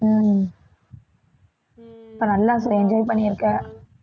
உம் அப்ப நல்லா enjoy பண்ணிருக்க